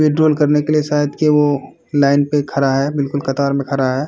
Withdraw करने के लिए शायद के वो लाइन पे खड़ा है बिलकुल कतार में खड़ा है।